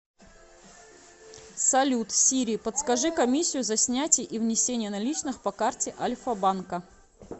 салют сири подскажи комиссию за снятие и внесение наличных по карте альфа банка